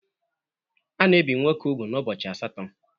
A na-ebì nwoke úgwù n'ubọchi asatọ.